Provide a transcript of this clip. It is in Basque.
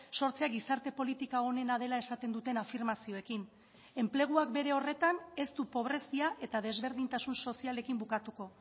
sortzea gizarte politika onena dela esaten duten afirmazioekin enpleguak bere horretan ez du pobrezia eta desberdintasun sozialekin bukatuko